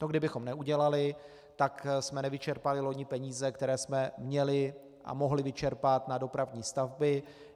To kdybychom neudělali, tak jsme nevyčerpali loni peníze, které jsme měli a mohli vyčerpat na dopravní stavby.